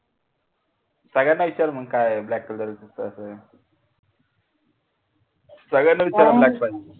सगळ्यांना विचार मग काय मग black color च तास सगळ्यांना पाहिजे म्हणून